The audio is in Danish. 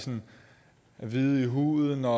hvide i huden og